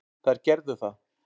Þær gerðu það.